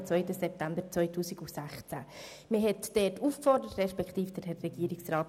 Es bestand die Aufforderung, dass sich die Jugendlichen dort engagieren.